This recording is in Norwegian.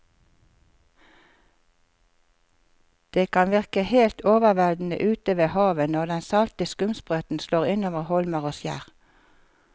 Det kan virke helt overveldende ute ved havet når den salte skumsprøyten slår innover holmer og skjær.